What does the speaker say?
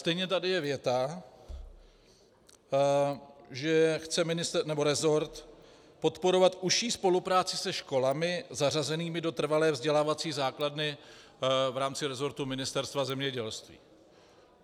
Stejně tady je věta, že chce rezort podporovat užší spolupráci se školami zařazenými do trvalé vzdělávací základny v rámci rezortu Ministerstva zemědělství.